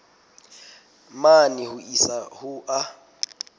mane ho isa ho a